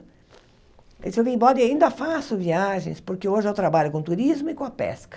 Ele disse, eu vim embora e ainda faço viagens, porque hoje eu trabalho com turismo e com a pesca.